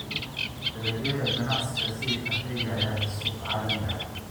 Dalagyada ganacsiga sida kafeega ayaa leh suuq caalami ah.